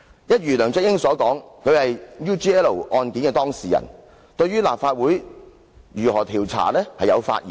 一如梁振英所說，他是 UGL 案件的當事人，對於立法會如何調查有發言權。